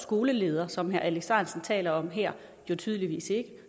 skoleleder som herre alex ahrendtsen taler om her jo tydeligvis ikke